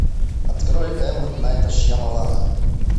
открой м найта шьямалана